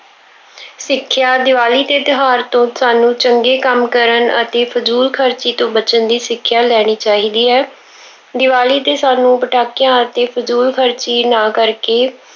ਸਿੱਖਿਆ- ਦੀਵਾਲੀ ਦੇ ਤਿਉਹਾਰ ਤੋਂ ਸਾਨੂੰ ਚੰਗੇ ਕੰਮ ਕਰਨ ਅਤੇ ਫਜ਼ੂਲ ਖਰਚੀ ਤੋਂ ਬਚਣ ਦੀ ਸਿੱਖਿਆ ਲੈਣੀ ਚਾਹੀਦੀ ਹੈ। ਦੀਵਾਲੀ ਤੇ ਸਾਨੂੰ ਪਟਾਕਿਆਂ ਅਤੇ ਫਜ਼ੂਲ ਖਰਚੀ ਨਾ ਕਰਕੇ